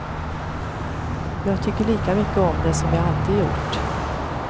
Jag tycker lika mycket om det som jag alltid gjort.